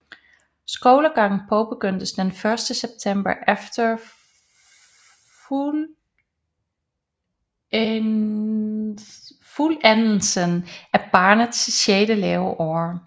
Skolegangen påbegyndes den første september efter fuldendelsen af barnets sjette leveår